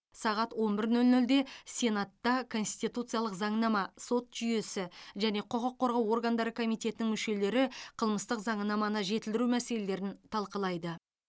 сағат он бір нөл нөлде сенатта конституциялық заңнама сот жүйесі және құқық қорғау органдары комитетінің мүшелері қылмыстық заңнаманы жетілдіру мәселелерін талқылайды